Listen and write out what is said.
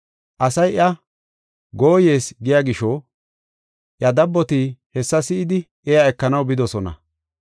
Asay iya, “Gooyees” giya gisho, iya dabboti hessa si7idi iya ekanaw bidosona.